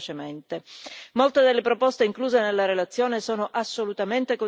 Molte delle proposte incluse nella relazione sono assolutamente condivisibili.